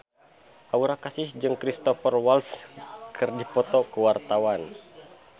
Aura Kasih jeung Cristhoper Waltz keur dipoto ku wartawan